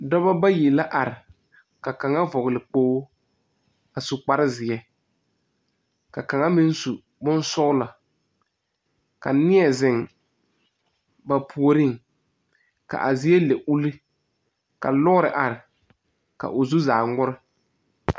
Dɔbɔ bayi la are. Ka kang vogle kpoo a su kparo zie. Ka kanga meŋ su boŋ sɔgla. Ka neɛ zeŋ ba pooreŋ. Ka a zie le ule. Ka a lɔre are ka o zu zaa ŋmore